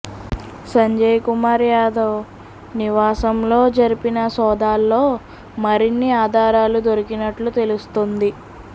సంజయ్ కుమార్ యాదవ్ నివాసంలో జరిపిన సోదాల్లో మరిన్ని అధారాలు దొరికినట్లు తెలుస్తోంది